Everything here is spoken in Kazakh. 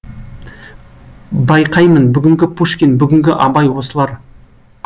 байқаймын бүгінгі пушкин бүгінгі абай осылар